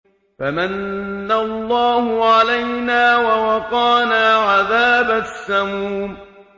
فَمَنَّ اللَّهُ عَلَيْنَا وَوَقَانَا عَذَابَ السَّمُومِ